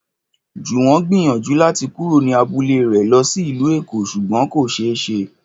Jùwọ́n gbìyànjú láti kúrò ní abúlé rẹ̀ lọ sí ìlú Èkó ṣùgbọ́n kò ṣe é ṣe